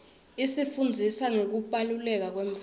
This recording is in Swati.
isifundzisa ngekubaluleka kwemvelo